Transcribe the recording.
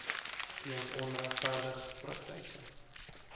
weens onregverdige praktyke